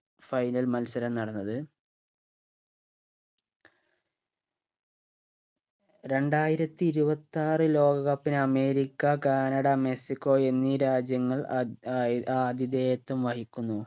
final മത്സരം നടന്നത് രണ്ടായിരത്തി ഇരുവത്താറ് ലോക cup ന് അമേരിക്ക കാനഡ മെക്സിക്കോ എന്നീ രാജ്യങ്ങൾ അദ് അയ് ആധിധേയത്വം വഹിക്കുന്നു